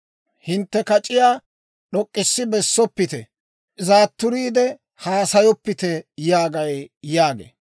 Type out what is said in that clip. Hintte kac'iyaa d'ok'k'issi bessoppite; zaatturiide haasayoppite yaagay» yaagee.